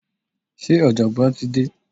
se ojogbon ti de?